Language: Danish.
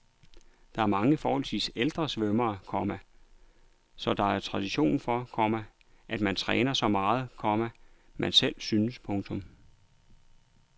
Der er mange forholdsvis ældre svømmere, komma så der er tradition for, komma at man træner så meget, komma man selv synes. punktum